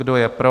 Kdo je pro?